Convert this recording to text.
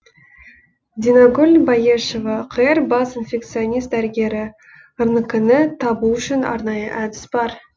динагүл баешова қр бас инфекционист дәрігері рнк ны табу үшін арнайы әдіс бар